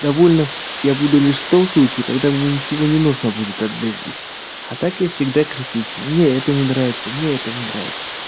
довольным я буду лишь в том случае когда мне ничего не нужно будет от жизни а так я всегда критичен мне это не нравится мне это не нравится